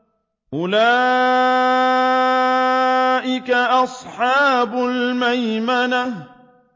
أُولَٰئِكَ أَصْحَابُ الْمَيْمَنَةِ